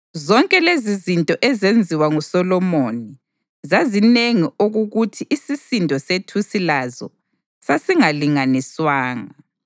Zonke lezizinto ezenziwa nguSolomoni zazinengi okukuthi isisindo sethusi lazo sasingalinganiswanga.